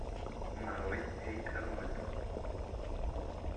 нарой эй арнольд